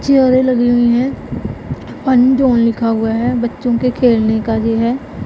चेयरें लगी हुई है लिखा हुआ है बच्चों के खेलने का ये है।